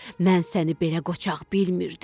Mən səni belə qoçaq bilmirdim.